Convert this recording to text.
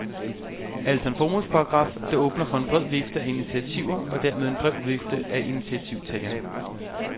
Altså en formålsparagraf, der åbner for en bred vifte af initiativer, og dermed en bred vifte af initiativtagere.